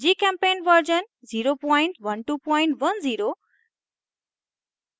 gchempaint version 01210